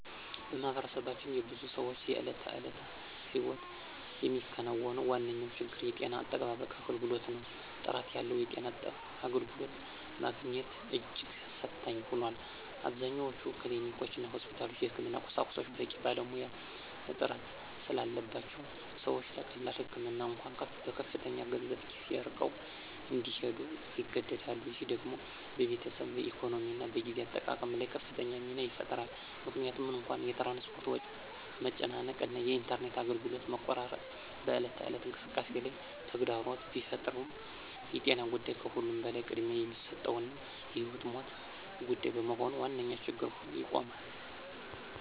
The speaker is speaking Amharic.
በማኅበረሰባችን የብዙ ሰዎችን የዕለት ተዕለት ሕይወት የሚነካው ዋነኛው ችግር የጤና አጠባበቅ አገልግሎት ነው። ጥራት ያለው የጤና አገልግሎት ማግኘት እጅግ ፈታኝ ሆኗል። አብዛኞቹ ክሊኒኮችና ሆስፒታሎች የሕክምና ቁሳቁስና በቂ ባለሙያ እጥረት ስላለባቸው ሰዎች ለቀላል ህመም እንኳ በከፍተኛ ገንዘብና ጊዜ ርቀው እንዲሄዱ ይገደዳሉ። ይህ ደግሞ በቤተሰብ ኢኮኖሚና በጊዜ አጠቃቀም ላይ ከፍተኛ ጫና ይፈጥራል። ምንም እንኳ የትራንስፖርት መጨናነቅ እና የኢንተርኔት አገልግሎት መቆራረጥ በዕለት ተዕለት እንቅስቃሴ ላይ ተግዳሮት ቢፈጥሩም የጤና ጉዳይ ከሁሉም በላይ ቅድሚያ የሚሰጠውና የሕይወትና ሞት ጉዳይ በመሆኑ ዋነኛ ችግር ሆኖ ይቆማል።